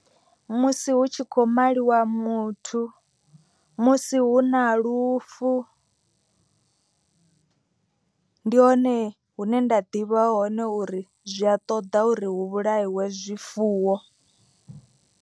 Musi hu tshi kho maliwa muthu, musi hu na lufu ndi hone hune nda ḓivha hone uri zwi a ṱoḓa uri hu vhulaiwe zwifuwo.